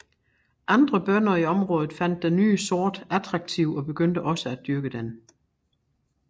Andre bønder i området fandt den ny sort attraktiv og begyndte også at dyrke den